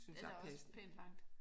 Det er da også pænt langt